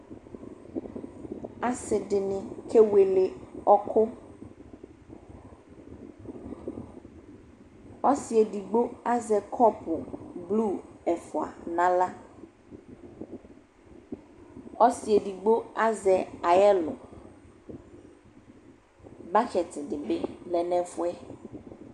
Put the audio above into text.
Asɩdɩnɩ kewele ɔkʋ : ɔsɩ edigbo azɛ kɔpʋ blu ɛfʋa n'aɣla ; ɔsɩ edigbo azɛ (payɛl), bokiti dɩ bɩ lɛ n'ɛfʋɛ